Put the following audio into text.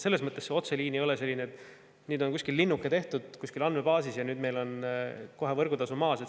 Selles mõttes see otseliin ei tähenda midagi sellist, et nüüd on linnuke tehtud kuskil andmebaasis ja kohe on meil võrgutasu maas.